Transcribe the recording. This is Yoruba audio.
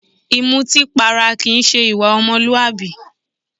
Ìmútípara kìí se ìwà ọmọlúwàbí.